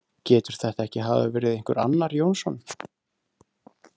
Getur þetta ekki hafa verið einhver annar Jónsson?